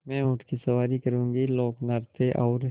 मैं ऊँट की सवारी करूँगी लोकनृत्य और